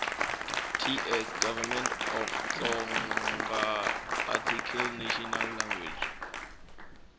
ts gov off tsoarticlenational language